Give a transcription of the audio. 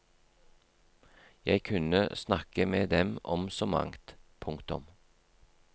Jeg kunne snakke med dem om så mangt. punktum